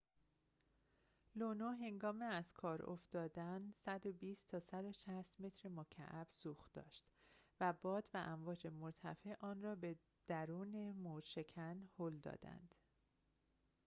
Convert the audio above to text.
لونو هنگام از کار افتادن ۱۲۰-۱۶۰ متر مکعب سوخت داشت و باد و امواج مرتفع آن‌را به دورن موج‌شکن هل دادند